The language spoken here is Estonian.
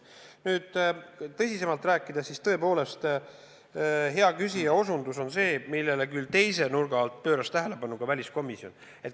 Aga kui tõsisemalt rääkida, siis tõepoolest, hea küsija osutus on see, millele küll teise nurga alt pööras tähelepanu ka väliskomisjon.